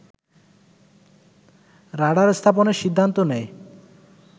radar স্থাপনের সিদ্ধান্ত নেয়